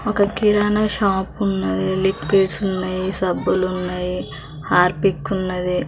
ఒక కిరాణాషాప్ ఉన్నదీ లిక్విడ్స్ ఉన్నాయి సబ్బులున్నాయి హార్పిక్ ఉన్నదీ.